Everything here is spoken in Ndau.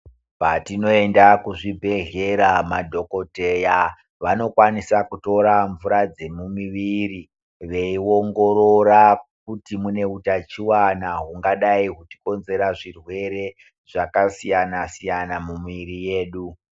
Patino enda ku zvibhedhleya madhokoteya vanokwanisa kutora mvura dzemu mumiviri vei ongorora kuti mune utachiwana hungadai huchi konzera zvirwere zvaka siyana siyana mu mwiri yedu.